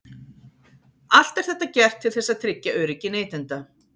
Allt er þetta gert til þess að tryggja öryggi neytenda.